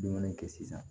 Dumuni kɛ sisan